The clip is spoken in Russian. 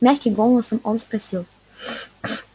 мягким голосом он спросил